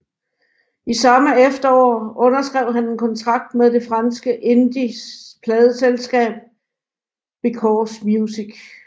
I samme efterår underskrev han en kontrakt med det franske indie pladeselskab Because Music